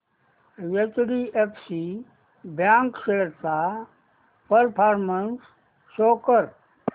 HDFC bank shares चा performance show कर